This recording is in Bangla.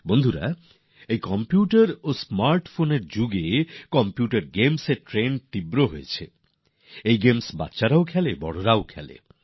বন্ধুরা এই ভাবেই এখন কম্পিউটার আর স্মার্টফোনের এই জমানায় কম্পিউটার গেমস এর বিরাট ট্রেন্ড বা প্রবণতা রয়েছে এই খেলাগুলি বাচ্চারাও খেলে বড়রাও খেলেন